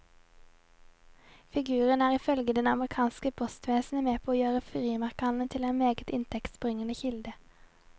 Figuren er ifølge det amerikanske postvesenet med på å gjøre frimerkehandelen til en meget inntektsbringende kilde.